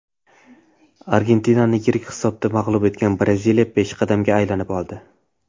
Argentinani yirik hisobda mag‘lub etgan Braziliya peshqadamga aylanib oldi .